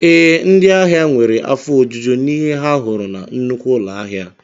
Ee, ndị ahịa nwere afọ ojuju n'ihe ha hụrụ na nnukwu ụlọ ahịa